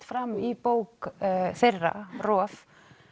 fram í bók þeirra rof